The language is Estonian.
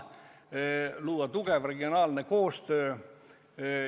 Tuleb luua tugev regionaalne koostöö.